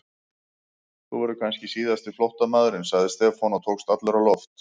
Þú verður kannski síðasti flóttamaðurinn sagði Stefán og tókst allur á loft.